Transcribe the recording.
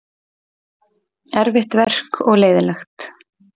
Erfitt verk og leiðinlegt.